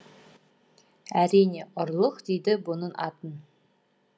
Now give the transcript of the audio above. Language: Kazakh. әрине ұрлық дейді бұның атын